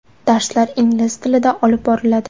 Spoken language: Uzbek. Darslar ingliz tilida olib boriladi.